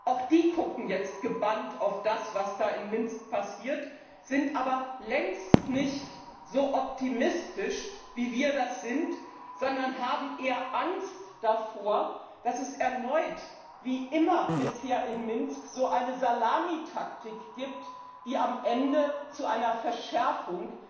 Auch die gucken jetzt gebannt auf das, was da in Minsk passiert, sind aber längst nicht so optimistisch wie wir, sondern haben eher Angst davor, dass es erneut wie immer bisher in Minsk so eine Salamitaktik gibt, die am Ende zu einer Verschärfung